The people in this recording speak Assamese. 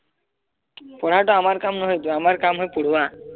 পঢ়াটো আমাৰ কাম নহয়টো আমাৰ কাম হল পঢ়োৱা